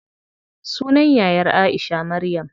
Sunan yayar Aisha, Maryam.